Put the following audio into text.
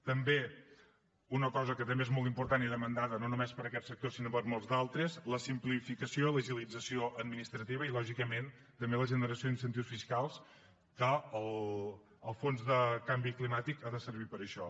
també una cosa que també és molt important i demandada no només per aquest sector sinó per molts d’altres la simplificació l’agilització administrativa i lògicament també la generació d’incentius fiscals que el fons de canvi climàtic ha de servir per a això